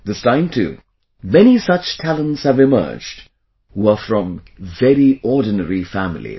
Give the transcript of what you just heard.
This time too many such talents have emerged, who are from very ordinary families